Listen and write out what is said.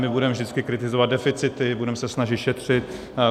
My budeme vždycky kritizovat deficity, budeme se snažit šetřit.